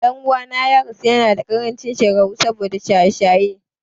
Ɗan'uwana ya rasu yanada ƙarancin shekaru saboda shaye-shaye.